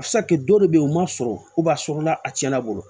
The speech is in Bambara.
A bɛ se ka kɛ dɔw de bɛ yen u man sɔrɔ a sɔrɔla a tiɲɛna bolo